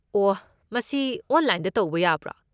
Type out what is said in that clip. ꯑꯣ, ꯃꯁꯤ ꯑꯣꯟꯂꯥꯏꯟꯗ ꯇꯧꯕ ꯌꯥꯕ꯭ꯔꯣ?